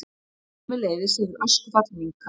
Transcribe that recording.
Sömuleiðis hefur öskufall minnkað